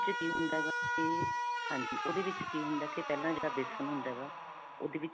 ਵਿੱਚ ਕੀ ਹੁੰਦਾ ਹੈਗਾ ਕਿ ਹਾਂਜੀ. ਓਹਦੇ ਵਿੱਚ ਕੀ ਹੁੰਦਾ ਹੈਗਾ ਕਿ ਪਹਿਲਾਂ ਜਿਹੜਾ ਬੇਸਨ ਹੁੰਦਾ ਹੈਗਾ ਓਹਦੇ